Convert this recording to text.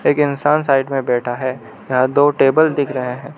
एक इंसान साइड में बैठा है यहां दो टेबल दिख रहा है।